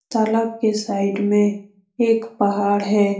तालाब के साइड में एक पहाड़ है।